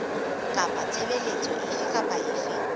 kapa tshebeletso efe kapa efe